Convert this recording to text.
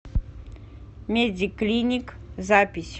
медиклиник запись